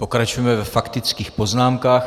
Pokračujeme ve faktických poznámkách.